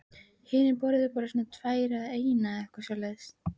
Hinir borðuðu bara svona tvær eða eina eða eitthvað svoleiðis.